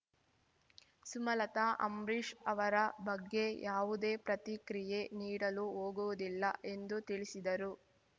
ಸುಮಲತಾ ಅಂಬ್ರಿಷ್‌ ಅವರ ಬಗ್ಗೆ ಯಾವುದೇ ಪ್ರತಿಕ್ರಿಯೆ ನೀಡಲು ಹೋಗುವುದಿಲ್ಲ ಎಂದು ತಿಳಿಸಿದರು